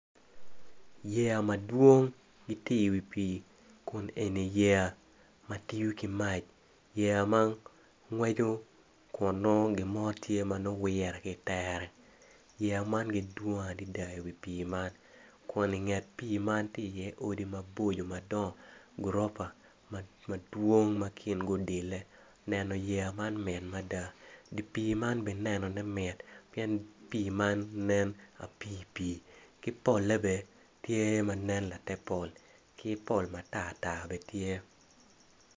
Yeya madwong giti iwi pii kun eni yeya ma tiyo ki mac kun eni yeya ma ngweco kun nongo gin mo tye ma nongo wire ki itere yeya man gidwong adida iwi pii man kun inget pii man tye iye odi maboco madongo gurupa madwong ma kingi odile neno yeya man mit mada di pii man bene nenone mit pien pii man nen apiipii ki polle bene tye ma nen late pol ki pol mantar tar bene tye.